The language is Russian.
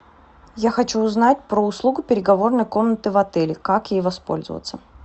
я хочу узнать про услугу переговорной комнаты в отеле как ей воспользоваться